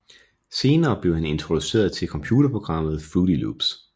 Senere blev han introduceret til computerprogrammet Fruity Loops